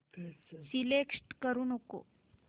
select करू नको